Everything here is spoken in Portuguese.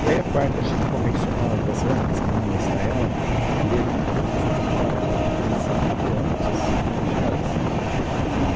E aí a parte convencional das rampas, que não é estaiado, teria que ter um custo muito maior, porque eles tem que começar muito antes né e chegar lá em cima, enfim.